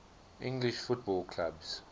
english football clubs